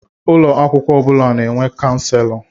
Ụlọ akwụkwọ ọ bụla na-enwe Kanselọ.